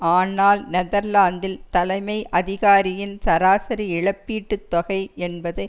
ஆனால் நெதர்லாந்தில் தலைமை அதிகாரியின் சராசரி இழப்பீட்டு தொகை என்பது